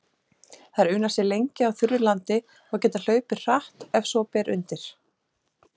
Þær una sér lengi á þurru landi og geta hlaupið hratt ef svo ber undir.